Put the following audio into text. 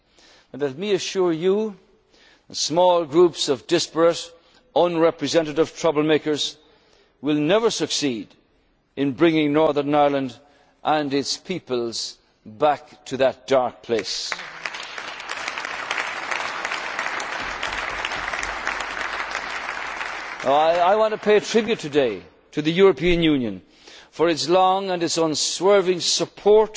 hard won peace. But let me assure you, small groups of disparate, unrepresentative, trouble makers will never succeed in bringing Northern Ireland and its peoples back to that dark place. I want to pay tribute today to the European Union for its long and its unswerving